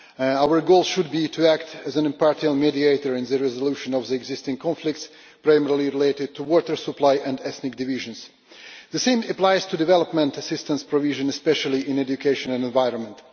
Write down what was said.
Our goal should be to act as an impartial mediator in the resolution of the existing conflicts, primarily related to water supply and ethnic divisions. The same applies to development assistance provision, especially in education and the environment.